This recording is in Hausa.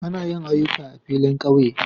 Ana yin aƴuka a filin ƙauye